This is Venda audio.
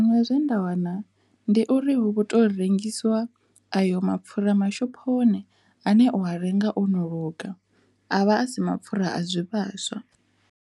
Nṋe zwe nda wana ndi uri hu vho to rengisiwa ayo mapfura mashophoni ane o renga ono luga avha a si mapfhura a zwi vhaswa.